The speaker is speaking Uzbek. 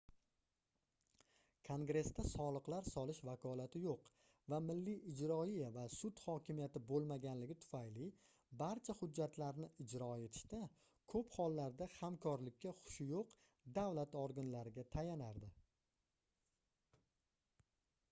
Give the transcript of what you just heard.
kongressda soliqlar solish vakolati yoʻq va milliy ijroiya va sud hokimiyati boʻlmagani tufayli barcha hujjatlarni ijro etishda koʻp hollarda hamkorlikka xushi yoʻq davlat organlariga tayanardi